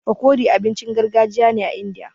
Fakori abincin gargajiya ne a Indiya.